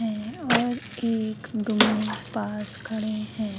ए और एक गो में पास खड़े है।